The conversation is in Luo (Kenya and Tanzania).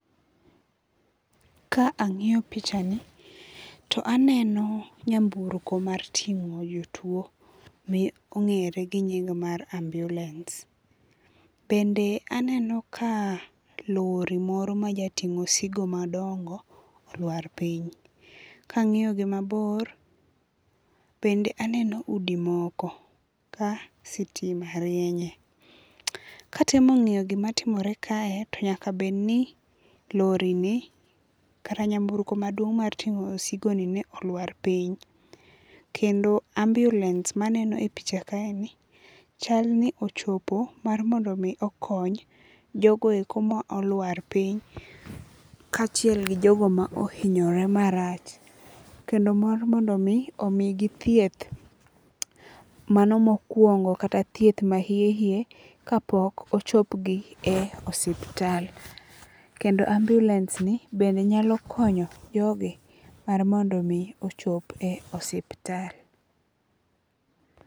Ka ang'iyo picha ni to aneno nyamburko mar ting'o jotuo ma ong'ere gi nying mar ambulance. Bende aneno ka lori moro mjating'o osigo madongo olwar piny. Ka ang'iyo gi mabor, bende aneno udi moko ka sitima rienye. Ka atemo ng'iyo gima timore kae to nyaka bed ni lori ni kata nyamburko maduong' mar ting'o osigo ni olwar piny. Kendo ambulance maneno e pich kae ni chal ni ochopo mar mondo mi okony jogo eko ma olwar piny ka achiel gi jogo ma ohinyore marach. Kendo mar mondo mi omi gi thieth mano mokuongo kata thieth ma hie hie kapok ochop gi e osiptal. Kendo ambulance ni bende nyalo konyo jogi mar mondo mi ochop e osiptal.